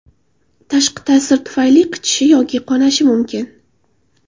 Tashqi ta’sir tufayli qichishi yoki qonashi mumkin.